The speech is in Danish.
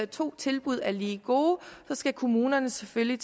to tilbud er lige gode skal kommunerne selvfølgelig